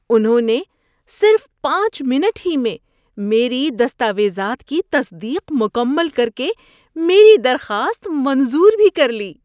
انہوں نے صرف پانچ منٹ ہی میں میری دستاویزات کی تصدیق مکمل کر کے میری درخواست منظور بھی کر لی!